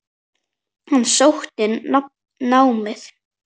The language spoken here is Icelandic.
Hann sótti námið.